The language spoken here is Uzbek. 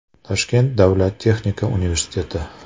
Toshkent davlat texnika universiteti.